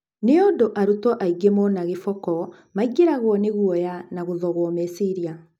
Nĩũndũ arutwo aingĩ mona gĩboko maingĩragũo nĩ guoya na gũthogũo meciria.